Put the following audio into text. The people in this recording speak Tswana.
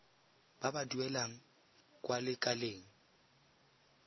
ba ba duelang kwa lekaleng